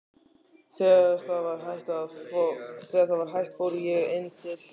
Þegar það var hætt fór ég inn til